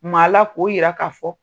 Maa la k'o yira k'a fɔ.